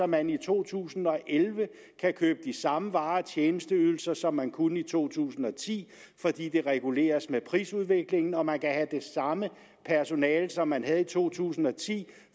man i to tusind og elleve kan købe de samme varer og tjenesteydelser som man kunne i to tusind og ti fordi det reguleres med prisudviklingen og man kan have det samme personale som man havde i to tusind og ti